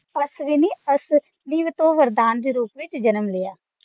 ਅਸ਼੍ਵਿਨੀ ਅਸ਼੍ਵਿਨੀ ਤੋਂ ਵਰਦਾਨ ਦੇ ਰੂਪ ਵਿੱਚ ਜਨਮ ਲਿਆ